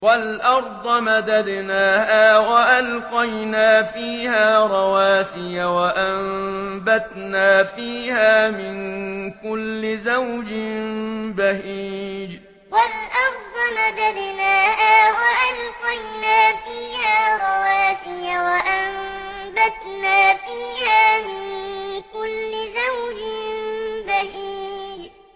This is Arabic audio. وَالْأَرْضَ مَدَدْنَاهَا وَأَلْقَيْنَا فِيهَا رَوَاسِيَ وَأَنبَتْنَا فِيهَا مِن كُلِّ زَوْجٍ بَهِيجٍ وَالْأَرْضَ مَدَدْنَاهَا وَأَلْقَيْنَا فِيهَا رَوَاسِيَ وَأَنبَتْنَا فِيهَا مِن كُلِّ زَوْجٍ بَهِيجٍ